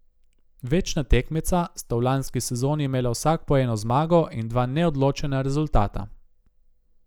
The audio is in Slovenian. Večna tekmeca sta v lanski sezoni imela vsak po eno zmago in dva neodločena rezultata.